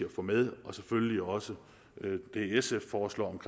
at få med og selvfølgelig også det sf foreslår